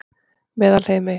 Meðalheimi